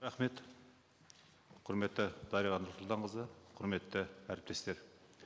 рахмет құрметті дариға нұрсұлтанқызы құрметті әріптестер